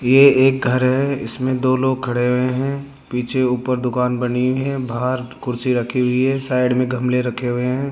ये एक घर है इसमें दो लोग खड़े हुए हैं पीछे ऊपर दुकान बनी है बाहर कुर्सी रखी हुई है साइड में गमले रखे हुए हैं।